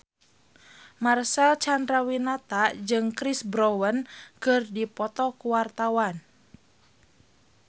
Marcel Chandrawinata jeung Chris Brown keur dipoto ku wartawan